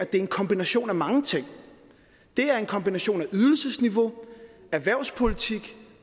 det er en kombination af mange ting det er en kombination af ydelsesniveau erhvervspolitik